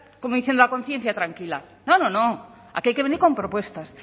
como diciendo a conciencia tranquila no no no aquí hay que venir con propuestas